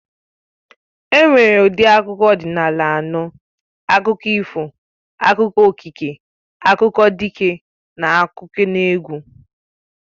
E nwere ụdị akụkọ ọdịnala anọ. Akụkọ ifo, akụkọ okike, akụkọ dike, n'akụkọneegwụ